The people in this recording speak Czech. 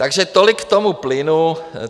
Takže tolik k tomu plynu.